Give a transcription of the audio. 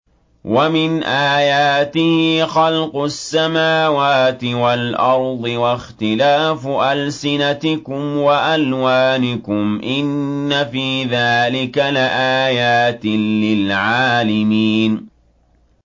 وَمِنْ آيَاتِهِ خَلْقُ السَّمَاوَاتِ وَالْأَرْضِ وَاخْتِلَافُ أَلْسِنَتِكُمْ وَأَلْوَانِكُمْ ۚ إِنَّ فِي ذَٰلِكَ لَآيَاتٍ لِّلْعَالِمِينَ